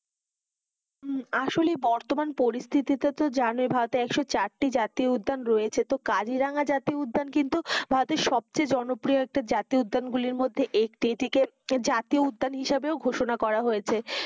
আসলে বর্তমান পরিস্থিতি তা তো জানো এক সো চারটি জাতীয় উদ্যান রয়েছে কাজিরাঙা জাতীয় উদ্যান কিন্তু ভারতের সব থেকে জনকপ্রিয় একটা জাতীয় উদ্যান গুলির মধ্যে একটি এটি কি জাতীয় উদ্যান হিসেবেও ঘোষণা করা হয়েছে,